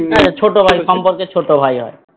হ্যাঁ ছোট ভাই সম্পর্কে ছোট ভাই হয়